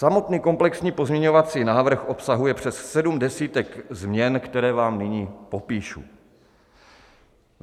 Samotný komplexní pozměňovací návrh obsahuje přes sedm desítek změn, které vám nyní popíšu.